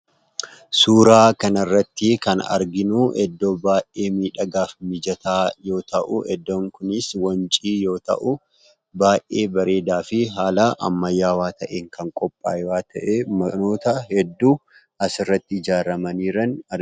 Suuraa kanarratti kan arginu ,iddoo baay'ee miidhagaa fi mijataa yoo ta'u, iddoon kunis Wancii yoo ta'u, baay'ee bareedaa fi haala ammayyaawaa taheen kan qophaa'e waan taheef ,manoota hedduu as irratti ijaaramanii jiran argina.